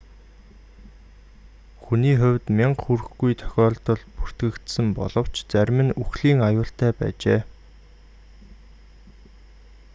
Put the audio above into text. хүний хувьд мянга хүрэхгүй тохиолдол бүртгэгдсэн боловч зарим нь үхлийн аюултай байжээ